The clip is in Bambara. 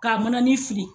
Ka mana ni fili